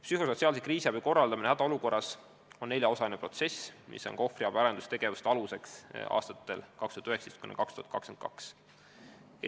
Psühhosotsiaalse kriisiabi korraldamine hädaolukorras on neljaosaline protsess, millele ohvriabi arendustegevused aastatel 2019–2022 tuginevadki.